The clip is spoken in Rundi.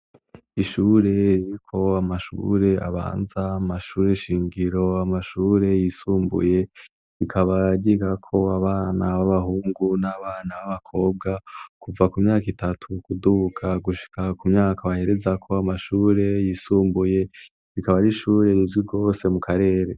Ishure ririko amashure abanza ,amashuri shingiro amashure yisumbuye rikaba ryigako abana b'abahungu n'abana b'abakobwa kuva ku myak' itatu kuduga gushika ku myaka baherezako amashure yisumbuye, ikaba arishure rizwi gwose mu karere.